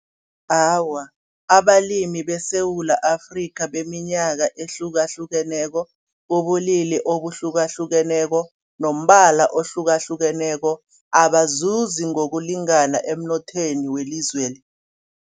Awa abalimi beSewula Afrika beminyaka ehlukahlukeneko, bobulili obuhlukahlukeneko nombala ohlukahlukeneko abazuzi ngokulingana emnothweni welizweli.